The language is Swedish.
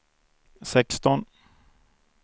sexton